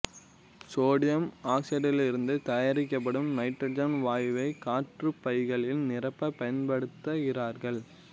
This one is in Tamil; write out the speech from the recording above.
சோடியம் அசைடிலிருந்து தயாரிக்கப்படும் நைட்ரசன் வாயுவை காற்றுப்பைகளில் நிரப்ப பயன்படுத்துகிறார்கள்